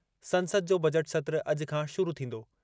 संसद जो बजट सत्र अॼु खां शुरू थींदो।